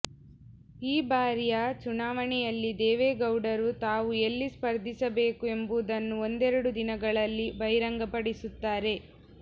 ಈ ಬಾರಿಯ ಚುನಾವಣೆಯಲ್ಲಿ ದೇವೇಗೌಡರು ತಾವು ಎಲ್ಲಿ ಸ್ಪರ್ಧಿಸಬೇಕು ಎಂಬುದನ್ನು ಒಂದೆರಡು ದಿನಗಳಲ್ಲಿ ಬಹಿರಂಗಪಡಿಸುತ್ತಾರೆ